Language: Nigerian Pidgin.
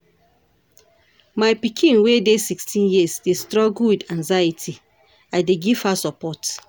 My pikin wey dey sixteen years dey struggle with anxiety, I dey give her support.